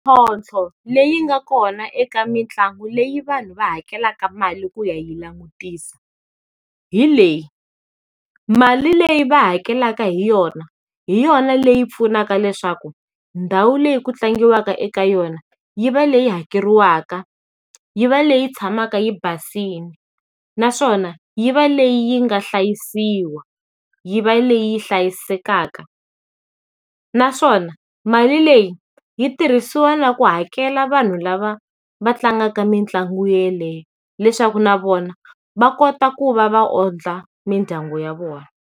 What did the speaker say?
leyi nga kona eka mitlangu leyi vanhu va hakelaka mali ku ya yi langutisa, hi leyi, mali leyi va hakelaka hi yona hi yona leyi pfunaka leswaku ndhawu leyi ku tlangiwaka eka yona yi va leyi hakeriwaka, yi va leyi tshamaka yi basile naswona yi va leyi yi nga hlayisiwa, yi va leyi hlayisekaka. Naswona mali leyi yi tirhisiwa na ku hakela vanhu lava va tlangaka mitlangu yeleyo leswaku na vona va kota ku va va ondla mindyangu ya vona.